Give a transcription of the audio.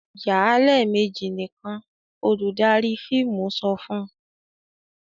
"Yà á lẹ́ẹ̀mejì nìkan!" Olùdarí fíìmù sọ fun..